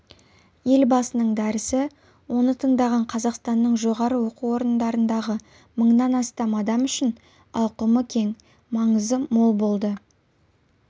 елбасының дәрісі оны тыңдаған қазақстанның жоғары оқу орындарындағы мыңнан астам адам үшін ауқымы кең маңызы мол болды